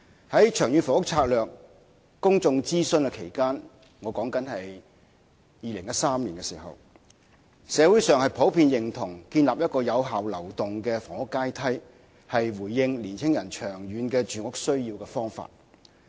在《長遠房屋策略》公眾諮詢期間——即2013年——社會上普遍認同建立一個有效流動的房屋階梯，是回應青年人長遠住屋需要的方法。